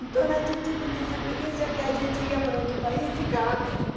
Então a gente tinha essa experiência que a gente ia para outro país e ficava mesmo.